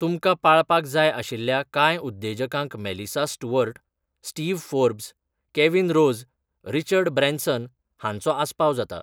तुमकां पाळपाक जाय आशिल्ल्या कांय उद्देजकांक Melissa Stewart, Steve Forbes, Kevin Rose, Richard Branson हांचो आस्पाव जाता.